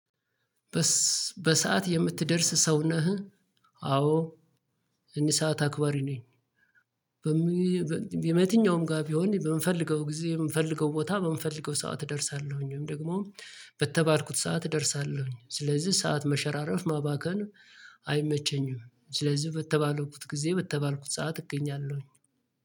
በሰአት የምትደርስ ሰው ነህ? አዎ እኔ ሰዓት አክባሪ ነኝ። በመየተኛውም ጋር ቢሆን በምፈልገው ጊዜ በምፈልገው ቦታ በምፈልገው ሰዓት እደርሳለሁኝ። ደግሞ በተባልኩት ሰዓት እደርሳለሁኝ። ስለዚህ ሰዓት መሸራረፍ ማባከን አይመቸኝም። ስለዚህ በተባልኩት ጊዜ በተባልኩት ሰዓት እገኛለሁኝ።